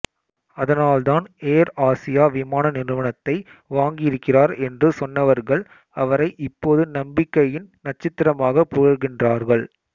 அதனால் தான் Air Asia விமான நிறுவனத்தை வாங்கியிருக்கிறார் என்று சொன்னவர்கள் அவரை இப்போது நம்பிக்கையின் நட்சத்திரமாகப் புகழ்கின்றார்கள்